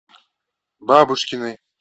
бабушкиной